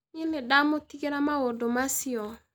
Niĩ nĩndamũtigĩra maũndũ macio